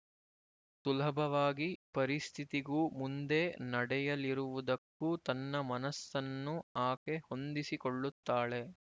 ಸುಲಭವಾಗಿ ಪರಿಸ್ಥಿತಿಗೂ ಮುಂದೆ ನಡೆಯಲಿರುವುದಕ್ಕೂ ತನ್ನ ಮನಸ್ಸನ್ನು ಆಕೆ ಹೊಂದಿಸಿಕೊಳ್ಳುತ್ತಾಳೆ